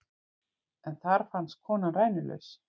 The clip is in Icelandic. En þar fannst konan rænulaus